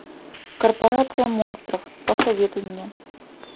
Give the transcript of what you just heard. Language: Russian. корпорация монстров посоветуй мне